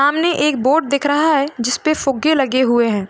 सामने एक बोर्ड दिख रहा है। जिसपे फुगे लगे हुए हैं।